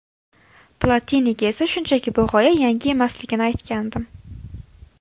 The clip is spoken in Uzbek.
Platiniga esa shunchaki bu g‘oya yangi emasligini aytgandim”.